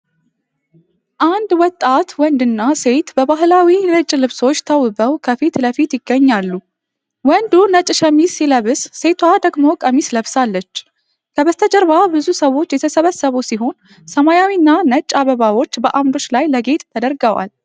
አንድ ወጣት ወንድና ሴት በባህላዊ ነጭ ልብሶች ተውበው ከፊት ለፊት ይገኛሉ። ወንዱ ነጭ ሸሚዝ ሲለብስ፣ ሴቷ ደግሞ ቀሚስ ለብሳለች። ከበስተጀርባ ብዙ ሰዎች የተሰበሰቡ ሲሆን፣ ሰማያዊና ነጭ አበባዎች በአምዶች ላይ ለጌጥ ተደርገዋል።